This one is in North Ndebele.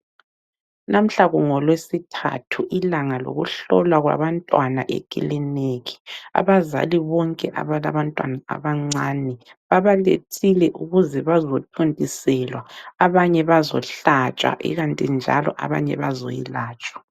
Namuhla kungoLweSithathu ilanga lokuhlolwa kwabantwana ekiliniki. Abazali bonke abalabantwana abancane babalethile ukuze bazothontiselwa abanye bazohlatshwa ikanti njalo abanye bazoyelatshwa.